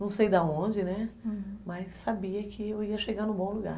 Não sei de onde, né, mas sabia que eu ia chegar em um bom lugar.